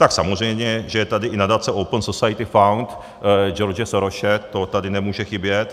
Tak samozřejmě že je tady i nadace Open Society Fund George Sorose, to tady nemůže chybět.